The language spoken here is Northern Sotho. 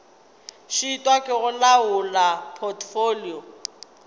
šitwa ke go laola potfolio